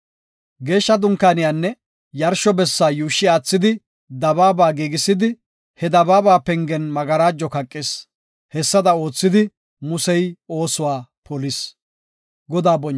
Geeshsha Dunkaaniyanne yarsho bessa yuushshi aathidi dabaaba giigisidi, he dabaaba pengen magarajo kaqis. Hessada oothidi, Musey oosuwa polis.